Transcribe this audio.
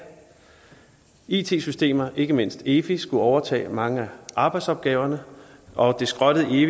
it systemer og ikke mindst efi skulle overtage mange af arbejdsopgaverne og det skrottede efi